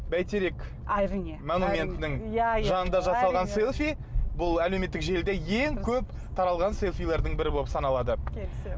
бәйтерек әрине монументінің иә иә жанында жасалған селфи бұл әлеуметтік желіде ең көп таралған селфилардың бірі болып саналады келісемін